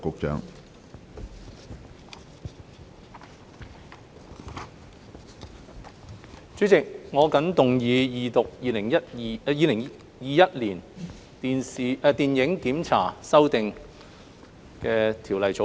主席，我謹動議二讀《2021年電影檢查條例草案》。